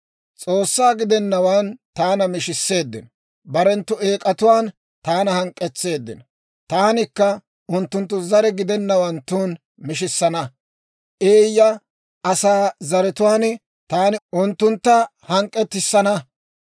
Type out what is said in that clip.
S'oossaa gidennawaan taana mishisseeddino; barenttu eek'atuwaan taana hank'k'etseeddino. Taanikka unttunttu zare gidennawanttun mishissana; eeyya asaa zaratuwaan taani unttuntta hank'k'etissana.